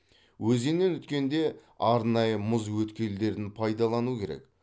өзеннен өткенде арнайы мұз өткелдерін пайдалану керек